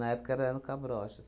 Na época eram cabrochas.